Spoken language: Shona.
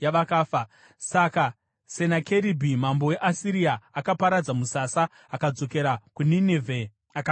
Saka Senakeribhi mambo weAsiria akaparadza musasa akadzokera kuNinevhe akandogarako.